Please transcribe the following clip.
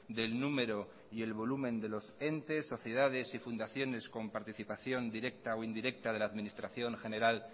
del número y volumen de los entes sociedades y fundaciones con participación directa o indirecta de la administración general